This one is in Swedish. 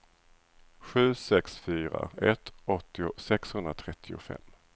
sju sex fyra ett åttio sexhundratrettiofem